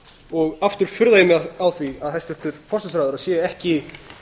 og aftur furða ég mig á því að hæstvirtur forsætisráðherra sé ekki